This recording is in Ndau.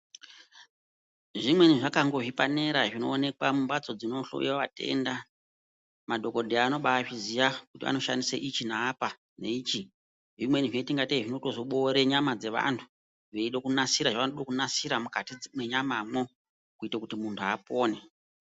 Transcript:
Zvimweni zvakangowe zvipanera zvinonekwa mumbatso dzinhloyiwe vatenda madhokodheya anoba azviziya kuti anoshandisa ichi neapa, neichi zvimweni zvinoita kunga tei zvinoboore nyama dzevanhu veide kunasire zvanoda kunasire mukati menyamamwo kuti munhu apone.